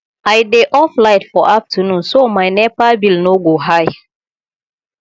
i dey off light for afternoon so my nepa bill no go high